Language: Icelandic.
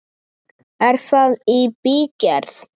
Er það í bígerð?